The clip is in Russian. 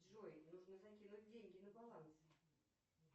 джой нужно закинуть деньги на баланс